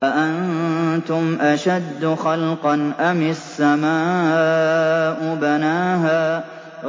أَأَنتُمْ أَشَدُّ خَلْقًا أَمِ السَّمَاءُ ۚ بَنَاهَا